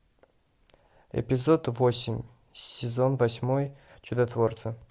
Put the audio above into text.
эпизод восемь сезон восьмой чудотворцы